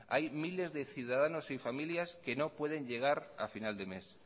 hay miles de ciudadanos y familias que no pueden llegar a final de mes